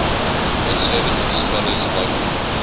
conservative scholars argue